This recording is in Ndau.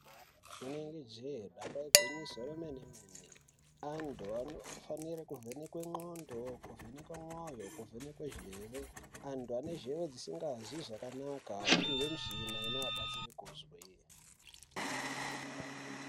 Rinenge jee, bamba igwinyiso remene-mene, antu anofanire kuvhenekwe ndxondo, kuvhenekwe mwoyo, kuvhenekwe zheve, antu ane zheve dzisingazwi zvakanaka opihwe mishina inovabatsire kuzwa.